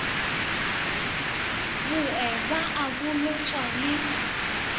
bowe ba a bolotšwa le